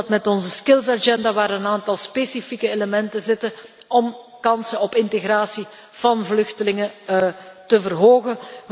We doen dat met onze skills agenda waarin een aantal specifieke elementen zitten om kansen op integratie van vluchtelingen te verhogen.